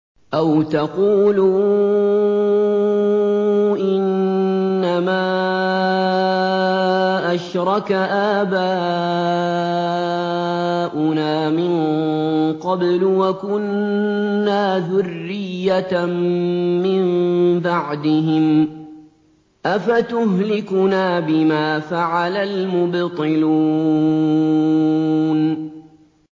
أَوْ تَقُولُوا إِنَّمَا أَشْرَكَ آبَاؤُنَا مِن قَبْلُ وَكُنَّا ذُرِّيَّةً مِّن بَعْدِهِمْ ۖ أَفَتُهْلِكُنَا بِمَا فَعَلَ الْمُبْطِلُونَ